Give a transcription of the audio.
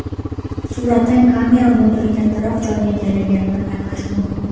Suratdan kamera moduli kattaroq joyni egallaganini payqash mumkin.